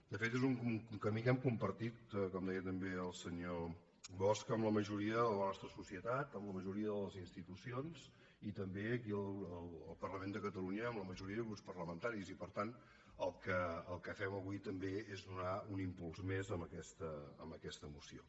de fet és un camí que hem compartit com deia també el senyor bosch amb la majoria de la nostra societat amb la majoria de les institucions i també aquí al parlament de catalunya amb la majoria de grups parlamentaris i per tant el que fem avui també és donar hi un impuls més amb aquesta moció